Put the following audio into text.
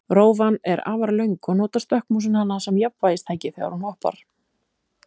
Rófan er afar löng og notar stökkmúsin hana sem jafnvægistæki þegar hún hoppar.